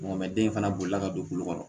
den fana bolila ka don kulu kɔnɔ